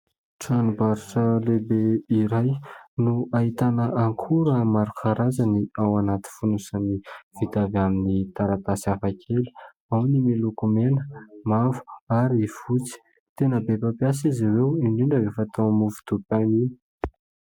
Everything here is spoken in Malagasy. Tranombarotra lehibe iray no ahitana akora maro karazany ao anaty fonosana vita avy amin'ny taratasy hafa kely, ao ny miloko mena, mavo ary fotsy tena be mpampiasa izy ireo indrindra rehefa atao amin'ny mofo dipaina iny.